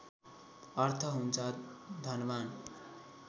अर्थ हुन्छ धनवान्